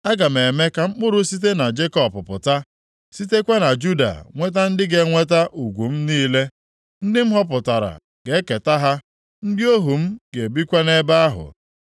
Aga m eme ka mkpụrụ site na Jekọb pụta, sitekwa na Juda nweta ndị ga-enweta ugwu m niile. Ndị m họpụtara ga-eketa ha, ndị ohu m ga-ebikwa nʼebe ahụ.